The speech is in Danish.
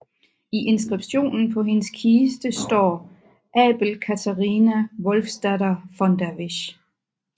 I inskriptionen på hendes kiste står Abel Catarina Wolfsdatter von der Wisch